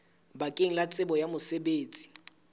bakeng la tsebo ya mosebetsi